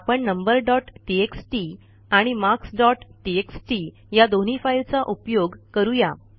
आपण number dot TXT आणि marks dot TXT या दोन्ही फाईलचा उपयोग करू या